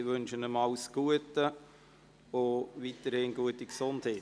Ich wünsche ihm alles Gute und weiterhin eine gute Gesundheit.